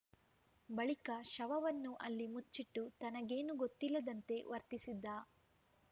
ಬಳಿಕ ಶವವನ್ನು ಅಲ್ಲಿ ಮುಚ್ಚಿಟ್ಟು ತನಗೇನೂ ಗೊತ್ತಿಲ್ಲದಂತೆ ವರ್ತಿಸಿದ್ದ